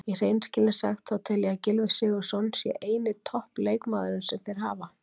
Í hreinskilni sagt þá tel ég að Gylfi Sigurðsson sé eini toppleikmaðurinn sem þeir hafa.